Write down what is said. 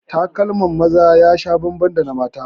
Takalmin maza ya sha bambam da na mata